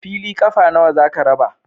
Fili ƙafa nawa za ka raba?